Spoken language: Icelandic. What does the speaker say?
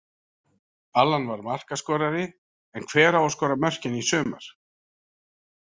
Allan var markaskorari en hver á að skora mörkin í sumar?